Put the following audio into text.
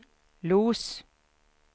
Los